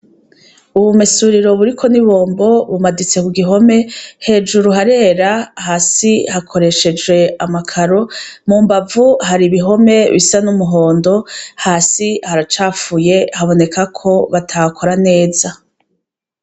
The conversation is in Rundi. Ubumesuriro buriko nibombo bimanitse kugihome hejuru harera hasi hakoreshejwe amakaro mumbavu hari ibihome bisa numuhondo hasi haracafuye habonekako batahakora neza